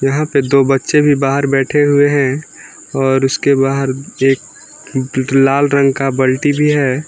यहां पे दो बच्चे भी बाहर बैठे हुए हैं और उसके बाहर एक लाल रंग का बल्टी भी है।